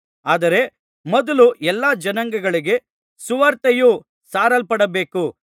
ಆದರೆ ಮೊದಲು ಎಲ್ಲಾ ಜನಾಂಗಗಳಿಗೆ ಸುವಾರ್ತೆಯು ಸಾರಲ್ಪಡಬೇಕು